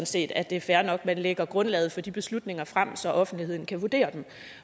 set at det er fair nok at man lægger grundlaget for de beslutninger frem så offentligheden kan vurdere dem